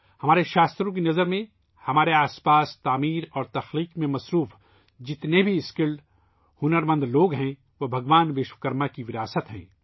ہمارے شاستروں کی نظر میں ، ہمارے ارد گرد تخلیق اور تخلیق میں مصروف تمام ہنر مند لوگ بھگوان وشوکرما کی میراث ہیں